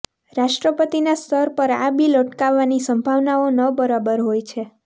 રાષ્ટ્રપતિના સ્તર પર આ બિલ અટકવાની સંભાવનાઓ ન બરાબર હોય છે